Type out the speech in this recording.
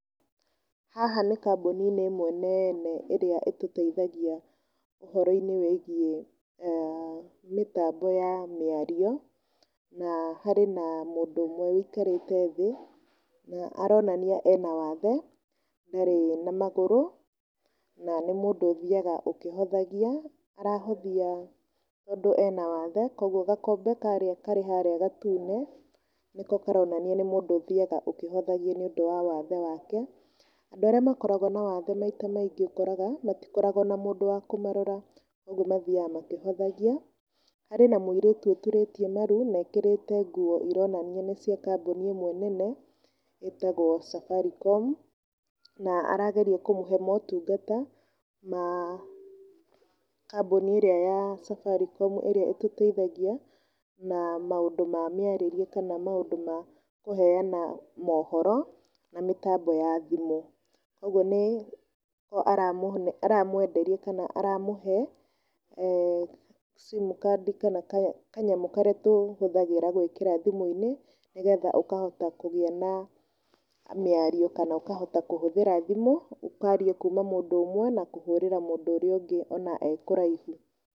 Haha nĩ kambuni-inĩ imwe nene ĩtũteithagia ũhoro-inĩ wĩgiĩ mĩtambo ya mĩario, na harĩ na mũndũ ũmwe ũikarĩte thĩ na aronania ena wathe, ndarĩ na magũrũ, na nĩ mũndũ ũthiaga ũkĩhothagia na arahothia tondũ ena wathe, koguo gakombe karĩa karĩ harĩa gatune nĩko karonania nĩ mũndũ ũthiaga akĩhothagia nĩũndũ wa wathe wake, andũ arĩa makoragwo na wathe maita maingĩ ũkoraga matikoragwo na mũndũ wa kũmarora ũguo mathiaga makĩhothagia, harĩ na mũirĩtu ũturĩtie maru na ekĩrĩte nguo ironania nĩ cia kambuni ĩmwe nene ĩtagwo Safaricom, na arageria kũmũhe motungata ma kambuni ĩrĩa ya Safaricom ĩrĩa ĩtũteithagia na maũndũ ma mĩarĩrie kana maũndũ ma kũheana mohoro, na mĩtambo ya thimũ, koguo nĩho aramwenderia kana aramũhe simcard kana kanyamũ karĩa tũhũthagĩra gwĩkĩra thimũ-inĩ, nĩgetha ũkahota kũgĩa na mĩario kana ũkahota kũhũthĩra thimũ ũkaria kuuma mũndũ ũmwe na kũhũrĩra mũndũ ũrĩa ũngĩ ona e kũraihu